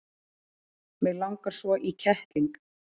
mig langar svo í kettling